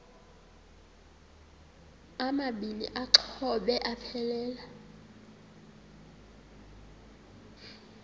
amabini exhobe aphelela